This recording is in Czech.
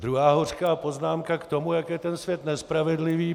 Druhá hořká poznámka k tomu, jak je ten svět nespravedlivý.